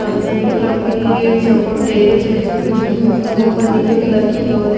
सामने एक लम्बी चोकोट टेबल है जो ग्रीन उपर नीले कलर की है और --